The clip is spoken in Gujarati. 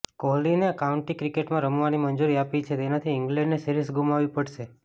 કોહલીને કાઉન્ટી ક્રિકેટમાં રમવાની મંજૂરી આપી છે તેનાથી ઇંગ્લેન્ડને સિરીઝ ગુમાવવી પડશે